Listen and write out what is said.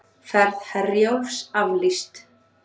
Ferð Herjólfs aflýst